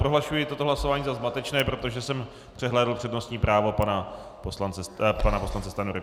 Prohlašuji toto hlasování za zmatečné, protože jsem přehlédl přednostní právo pana poslance Stanjury.